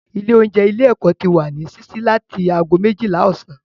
Ilé oúnjẹ ilé ẹ́kọ́ ti wà ní sísí láti ago méjìlá ọ̀sán